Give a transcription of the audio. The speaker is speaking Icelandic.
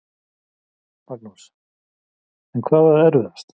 Magnús: En hvað var erfiðast?